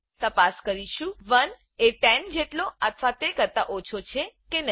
તપાસ કરીશું 1એ 10 જેટલો અથવા તે કરતા ઓછો છે કે નહી